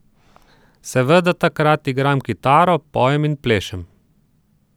Seveda takrat igram kitaro, pojem in plešem.